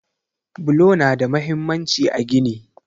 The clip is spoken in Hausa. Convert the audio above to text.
Bulo nada mahimmanci a gini.